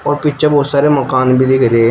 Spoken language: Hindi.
पीछे बहुत सारे मकान भी दिख रहे--